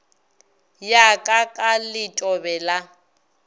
ya ka ka letobe la